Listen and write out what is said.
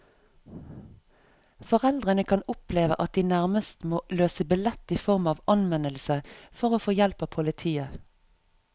Foreldrene kan oppleve at de nærmest må løse billett i form av anmeldelse for å få hjelp av politiet.